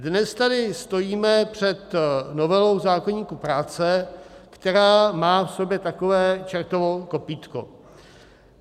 Dnes tady stojíme před novelou zákoníku práce, která má v sobě takové čertovo kopýtko.